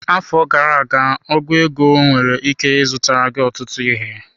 Afọ gara aga ọgu ego nwere ike zụtara gị ọtụtụ ihe.